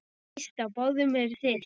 Víst á báðum eruð þið.